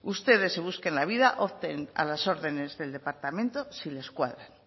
ustedes se busquen la vida opten a las órdenes del departamento si les cuadran